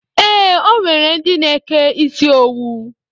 Ee, o nwere ndi na-eke isi owu